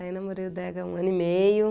Aí namorei o Dega há um ano e meio.